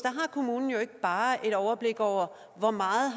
har kommunen jo ikke bare et overblik over hvor meget